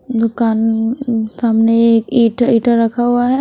दुकान सामने एक ईटा ईटा रखा हुआ है।